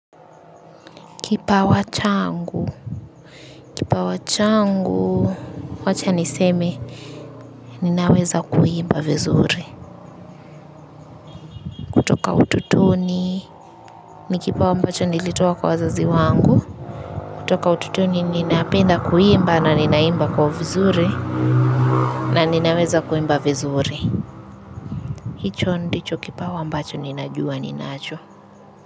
Kipawa changu, kipawa changu, wacha niseme, ninaweza kuimba vizuri. Toka utotoni, ni kipawa ambacho nilitoa kwa wazazi wangu. Toka utotoni, ninaapenda kuimba na ninaimba kwa vizuri, na ninaweza kuimba vizuri. Hicho ndicho kipawa ambacho ninajua, ninacho.